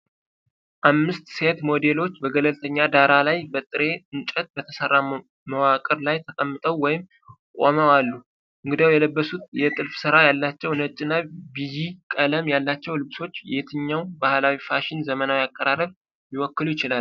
አምስት ሴት ሞዴሎች በገለልተኛ ዳራ ላይ፣ በጥሬ እንጨት በተሠራ መዋቅር ላይ ተቀምጠው ወይም ቆመው አሉ፤ እንግዲያው፣ የለበሱት የጥልፍ ሥራ ያላቸው ነጭ እና ቢጂ ቀለም ያላቸው ልብሶች የትኛውን ባህላዊ የፋሽን ዘመናዊ አቀራረብ ሊወክሉ ይችላሉ?